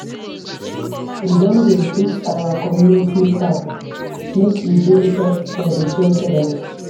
We don dey fix our community park make e dey safe for di children.